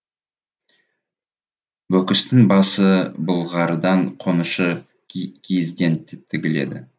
бөкістің басы былғарыдан қонышы киізден тігіледі